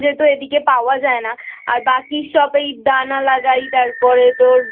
যেহেতু এদিকে পাওয়া যায় না আর বাকি সব দানা লাগাই তারপরে তোর